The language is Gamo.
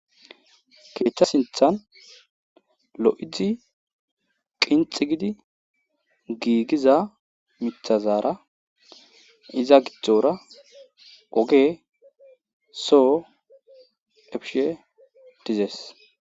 Keeththa sinthan lo'idzi qinxi gidi giigiza mithazaara iza gidzdzora oge soo efishe dizees.